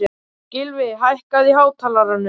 Gylfi, hækkaðu í hátalaranum.